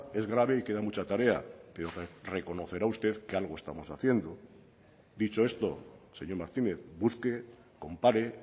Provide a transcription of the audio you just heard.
es grave y queda mucha tarea pero reconocerá usted que algo estamos haciendo dicho esto señor martínez busque compare